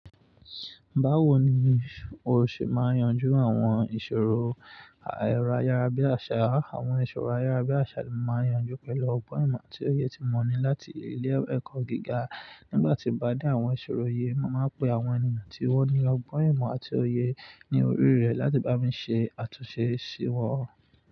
Báwo ni o ṣe máa yanjú àwọn ìṣòro éró ayárabíàṣá? Àwọn ìṣòro ayárabíàṣá n máa ń yanjú pẹ̀lú ọgbọ́n ìmọ̀ àti òye tí mo ní láti ilé ẹ̀kọ́ gíga. Nígbà tí mo bá de àwọn ìṣòro yẹn, mo màá pe àwọn èeyàn tí wọ́n ní ọgbọ́n ìmọ̀ àti òye ní orí rẹ̀ láti bá mi ṣe àtúnṣe ṣíwọ́.